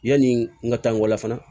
Yani n ka taa n walan fana